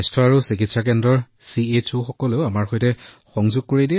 স্বাস্থ্য আৰু কল্যাণ কেন্দ্ৰৰ চিএইচঅয়ে তেওঁলোকক আমাৰ সৈতে সংযুক্ত কৰে